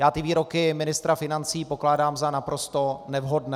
Já ty výroky ministra financí pokládám za naprosto nevhodné.